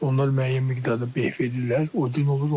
Onlar müəyyən miqdarda beh verirlər, o din olur onların.